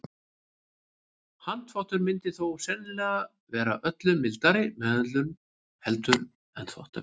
Handþvottur myndi þó sennilega vera öllu mildari meðhöndlun heldur en þvottavélin.